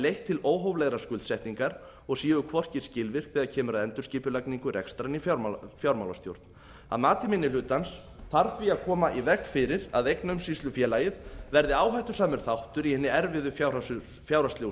leitt til óhóflegrar skuldsetningar og séu hvorki skilvirk þegar kemur að endurskipulagningu rekstrar né fjármálastjórn að mati minni hlutans þarf því að koma í veg fyrir að eignaumsýslufélagið verði áhættusamur þáttur í hinni erfiðu fjárhagslegu